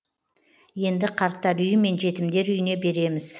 енді қарттар үйі мен жетімдер үйіне береміз